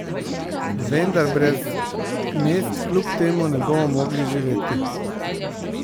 Vendar brez mest kljub temu ne bomo mogli živeti.